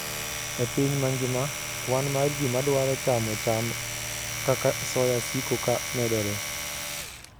E piny mangima, kwan mar ji madwaro chamo cham kaka soya siko ka medore.